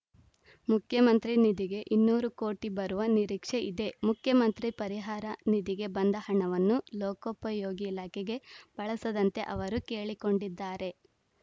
ಮುಖ್ಯಮಂತ್ರಿ ನಿಧಿಗೆ ಇನ್ನೂರು ಕೋಟಿ ಬರುವ ನಿರೀಕ್ಷೆ ಇದೆ ಮುಖ್ಯಮಂತ್ರಿ ಪರಿಹಾರ ನಿಧಿಗೆ ಬಂದ ಹಣವನ್ನು ಲೋಕೋಪಯೋಗಿ ಇಲಾಖೆಗೆ ಬಳಸದಂತೆ ಅವರು ಕೇಳಿಕೊಂಡಿದ್ದಾರೆ